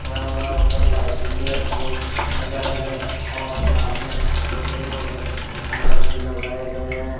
खड़ा हुआ है ऊपर लायटिंग भी है लगाए गए और सामने छोटे बड़े झाड़ भी लगाए गए है।